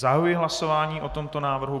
Zahajuji hlasování o tomto návrhu.